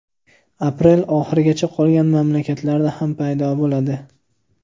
Aprel oxirigacha qolgan mamlakatlarda ham paydo bo‘ladi.